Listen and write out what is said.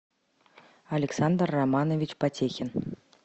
александр романович потехин